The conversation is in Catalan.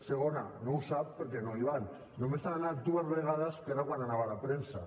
segona no ho sap perquè no hi van només hi han anat dues vegades que era quan hi anava la premsa